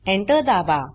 Enter दाबा